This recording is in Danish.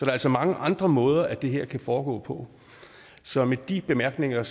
er altså mange andre måder at det her kan foregå på så med de bemærkninger